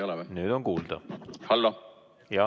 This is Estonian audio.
On nüüd kuulda või ei ole?